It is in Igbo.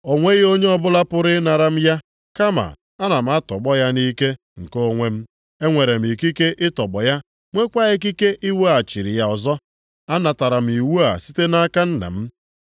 O nweghị onye ọbụla pụrụ ịnara m ya, kama ana m atọgbọ ya nʼike nke onwe m. Enwere m ikike ịtọgbọ ya, nweekwa ikike iwereghachi ya ọzọ. Anatara m iwu a site nʼaka Nna m.”